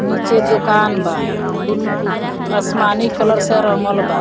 नीचे दोकान बा बुल आसमानी कलर से रंगल बा।